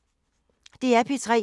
DR P3